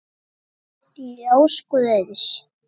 Ljós guðs.